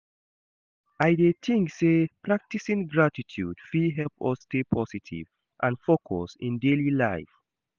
I dey think say practicing gratitude fit help us stay positive and focused in daily life.